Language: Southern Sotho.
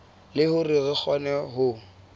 le hore re kgone ho